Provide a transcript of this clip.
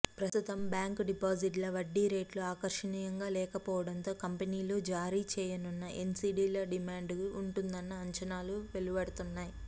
ప్రస్తుతం బ్యాంకు డిపాజిట్ల వడ్డీ రేట్లు ఆకర్షణీయంగా లేకపోవడంతో కంపెనీలు జారీ చేయనున్న ఎన్సీడీలకు డిమాండ్ ఉంటుందన్న అంచనాలు వెలువడుతున్నాయి